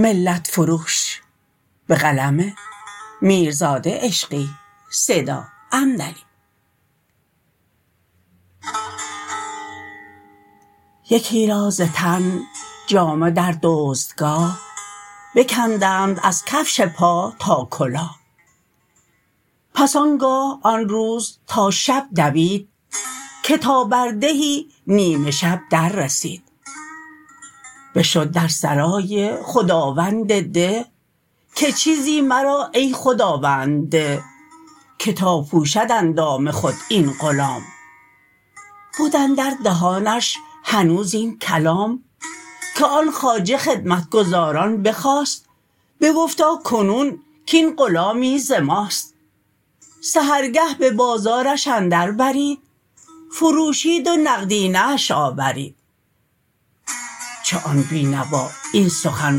یکی را ز تن جامه در دزدگاه بکندند از کفش پا تا کلاه پس آنگاه آن روز تا شب دوید که تا بر دهی نیمه شب در رسید بشد در سرای خداوند ده که چیزی مرا ای خداوند ده که تا پوشد اندام خود این غلام بد اندر دهانش هنوز این کلام که آن خواجه خدمتگزاران بخواست بگفتا کنون کاین غلامی ز ماست سحرگه به بازارش اندر برید فروشید و نقدینه اش آورید چو آن بینوا این سخن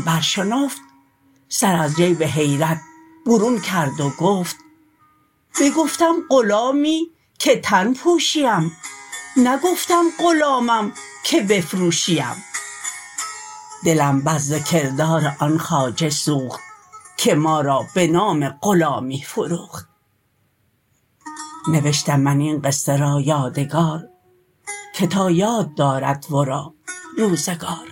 برشنفت سر از جیب حیرت برون کرد و گفت بگفتم غلامی که تن پوشی ام نگفتم غلامم که بفروشی ام دلم بس ز کردار آن خواجه سوخت که ما را به نام غلامی فروخت نوشتم من این قصه را یادگار که تا یاد دارد ورا روزگار